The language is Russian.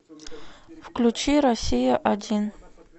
включи россия один